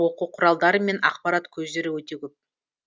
оқу құралдары мен ақпарат көздері өте көп